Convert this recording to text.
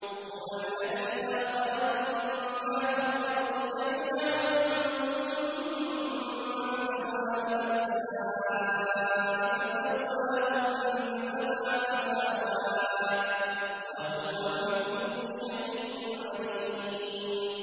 هُوَ الَّذِي خَلَقَ لَكُم مَّا فِي الْأَرْضِ جَمِيعًا ثُمَّ اسْتَوَىٰ إِلَى السَّمَاءِ فَسَوَّاهُنَّ سَبْعَ سَمَاوَاتٍ ۚ وَهُوَ بِكُلِّ شَيْءٍ عَلِيمٌ